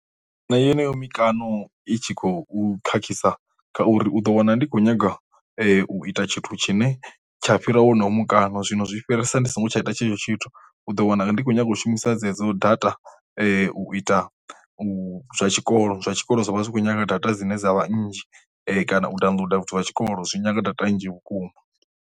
Nṋe yeneyo mikano i tshi khou khakhisa kha uri u ḓo wana ndi khou nyanga u ita tshithu tshine tsha fhira wono mukano zwino zwi fhirisa ndi songo tsha ita tshetsho tshithu, u ḓo wana ndi khou nyanga u shumisa dzedzo data u ita u zwa tshikolo zwa tshikolo zwi vha zwi khou nyaga data dzine dza vhanzhi kana u downloader vhathu vha tshikolo zwi nyanga data nnzhi vhukuma.